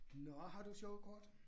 Nåh har du et sjovt kort?